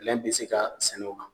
Lɛn be se ka sɛnɛ o kan